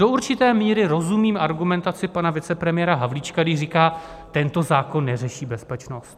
Do určité míry rozumím argumentaci pana vicepremiéra Havlíčka, když říká: tento zákon neřeší bezpečnost.